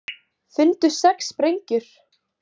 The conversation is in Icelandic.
Fundu sex sprengjur